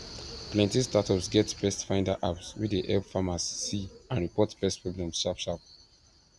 plenty startups get pestfinder apps wey de help farmers see and report pest problems sharp sharp